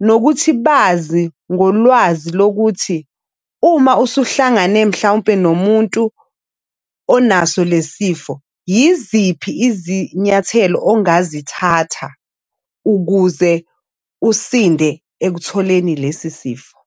nokuthi bazi ngolwazi lokuthi uma usuhlangane mhlawumpe nomuntu onaso lesi sifo. Yiziphi izinyathelo ongazithatha ukuze usinde ekutholeni lesi sifo.